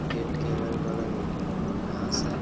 Gate के अगल- बगल घास हैं।